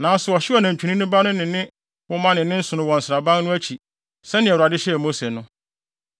Nanso ɔhyew nantwinini ba no ne ne nwoma ne ne nsono wɔ nsraban no akyi sɛnea Awurade hyɛɛ Mose no.